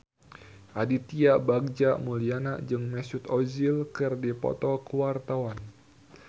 Aditya Bagja Mulyana jeung Mesut Ozil keur dipoto ku wartawan